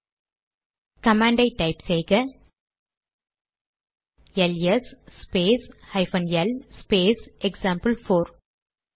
இப்போது command type செய்க LS space hyphen L space example four